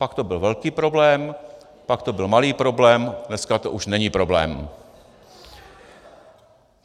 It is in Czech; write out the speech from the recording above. Pak to byl velký problém, pak to byl malý problém, dneska to už není problém.